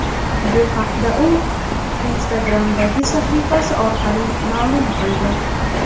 Bu haqda u Instagram’dagi sahifasi orqali ma’lum qildi .